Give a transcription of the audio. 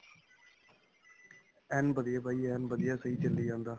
ਐਨ ਵਧੀਆ, ਬਾਈ ਐਨ ਵਧੀਆ, ਸਹੀ ਚਲੀ ਜਾਂਦਾ.